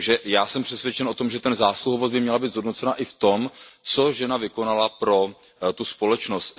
Já jsem přesvědčen o tom, že zásluhovost by měla být zhodnocena i v tom, co žena vykonala pro tu společnost.